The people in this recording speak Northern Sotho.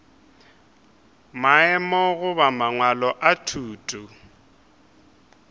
maemo goba mangwalo a thuto